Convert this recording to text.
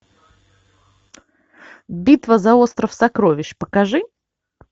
битва за остров сокровищ покажи